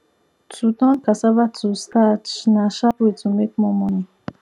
to turn cassava to starch na sharp way to make more money